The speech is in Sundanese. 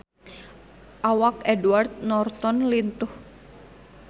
Awak Edward Norton lintuh